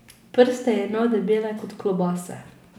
Prste je imel debele kot klobase.